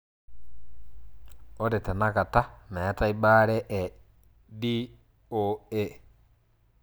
Ore tenakata metae bare e (DOA)